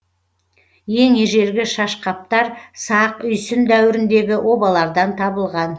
ең ежелгі шашқаптар сақ үйсін дәуіріндегі обалардан табылған